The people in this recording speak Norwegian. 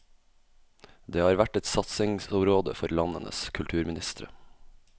Det har vært et satsingsområde for landenes kulturministre.